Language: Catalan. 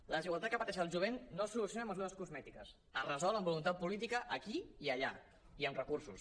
la desigualtat que pateixen el jovent no es soluciona amb mesures cosmètiques es resol amb voluntat política aquí i allà i amb recursos